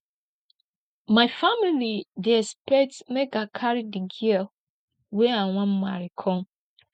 my family dey expect make i carry di girl wey i wan marry come